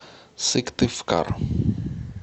сыктывкар